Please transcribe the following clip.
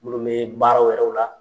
Minnu bɛ baara wɛrɛw la.